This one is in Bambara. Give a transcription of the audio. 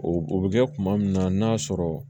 O o bɛ kɛ kuma min na n'a sɔrɔ